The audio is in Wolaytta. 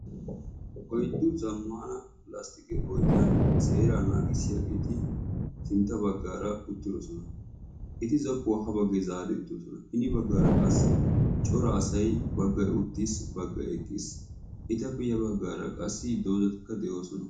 oyddu zammana lasttiqe oyddiyan seeraa naagissiyaageeti sintta bagaara uttidosona. eti zokkuwaa haa zaari uttidososna. hini baggaara qassi cora asay baggay utiis, baggay eqqiis. etappe ya baggaara qssidozatikka de'oosona.